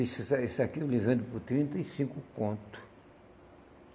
Isso isso aí isso aqui eu lhe vendo por trinta e cinco conto.